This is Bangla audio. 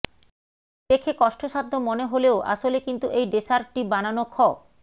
দেখে কষ্টসাধ্য মনে হলেও আসলে কিন্তু এই ডেসার্টটি বানানো খ